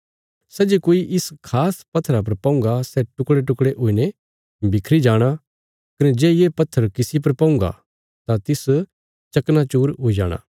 सै जे कोई इस खास पत्थरा पर पौंगा सै टुकड़ेटुकड़े हुईने बिखरी जाणा कने जे ये पत्थर किसी पर पौंगा तां तिस चकनाचूर हुई जाणा